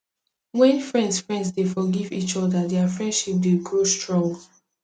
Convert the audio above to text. wen friends friends dey forgive each oda dia friendship dey grow strong